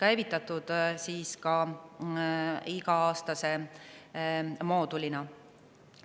See moodul on käivitatud iga-aastasena.